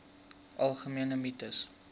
algemene mites